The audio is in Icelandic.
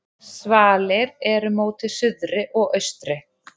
Svalir eru móti suðri og austri.